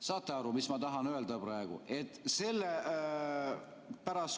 Saate aru, mis ma tahan öelda praegu?